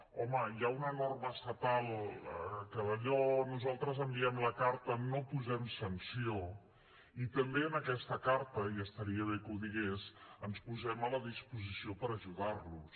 home hi ha una norma estatal que d’allò nosaltres enviem la carta no posem sanció i també en aquesta carta i estaria bé que ho digués ens posem a la disposició per ajudar los